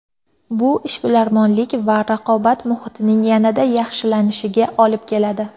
Bu ishbilarmonlik va raqobat muhitining yanada yaxshilanishiga olib keladi.